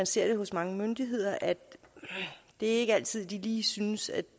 ser hos mange myndigheder at de ikke altid lige synes at